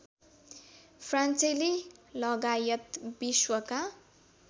फ्रान्सेली लगायत विश्वका